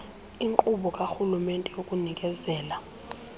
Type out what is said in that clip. inkqubo karhulumente yokunikezela